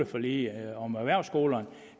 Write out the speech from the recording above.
forliget om erhvervsskolerne